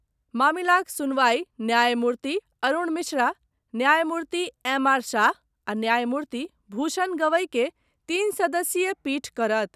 मामिलाक सुनवाई न्यायमूर्ति अरुण मिश्रा, न्यायमूर्ति एम आर शाह आ न्यायमूर्ति भूषण गवई के तीन सदस्यीय पीठ करत।